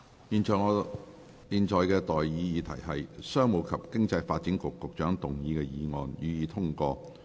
現在的待議議題是：商務及經濟發展局局長動議的議案，予以通過。